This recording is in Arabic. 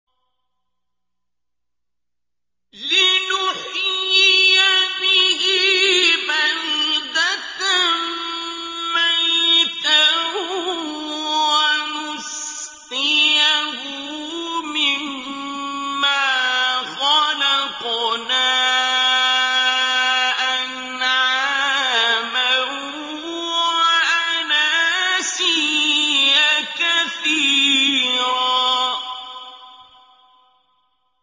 لِّنُحْيِيَ بِهِ بَلْدَةً مَّيْتًا وَنُسْقِيَهُ مِمَّا خَلَقْنَا أَنْعَامًا وَأَنَاسِيَّ كَثِيرًا